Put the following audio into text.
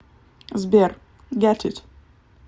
сбер гет ит